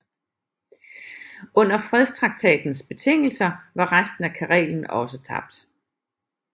Under fredstraktatens betingelser var resten af Karelen også tabt